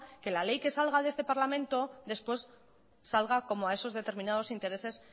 que la ley que salga de este parlamento después salga como a esos determinados intereses